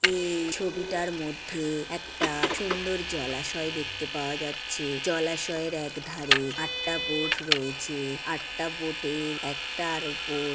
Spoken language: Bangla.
এই ছবিটার মধ্যে একটা- সুন্দর জলাশয় দেখতে পাওয়া যাচ্ছে জলাশয়ের একধারে আটটা বোট রয়েছে আটটা বোট -এর একটার উপর--